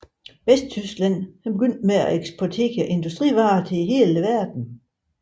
Vesttyskland begyndte at eksportere industrivarer til hele verden